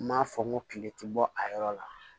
N m'a fɔ n ko kile ti bɔ a yɔrɔ la